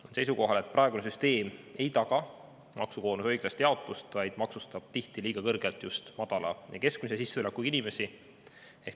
Olen seisukohal, et praegune süsteem ei taga maksukoormuse õiglast jaotust, vaid maksustab tihti liiga kõrgelt just madala ja keskmise sissetulekuga inimesi.